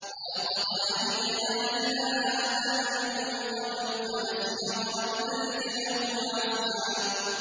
وَلَقَدْ عَهِدْنَا إِلَىٰ آدَمَ مِن قَبْلُ فَنَسِيَ وَلَمْ نَجِدْ لَهُ عَزْمًا